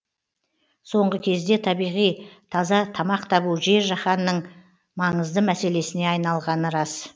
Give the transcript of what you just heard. соңғы кезде табиғи таза тамақ табу жер жиһанның маңызды мәселесіне айналғаны рас